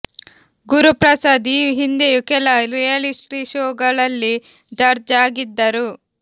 ಗುರುಪ್ರಸಾದ್ ಈ ಹಿಂದೆಯೂ ಕೆಲ ರಿಯಾಲಿಟಿ ಶೋ ಗಳಲ್ಲಿ ಜಡ್ಜ್ ಆಗಿದ್ದರು